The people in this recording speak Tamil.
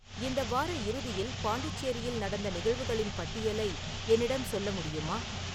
இந்த வார இறுதியில் பாண்டிச்சேரியில் நடந்த நிகழ்வுகளின் பட்டியலை என்னிடம் சொல்ல முடியுமா